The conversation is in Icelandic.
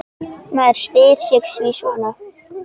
Maður spyr sig sí svona.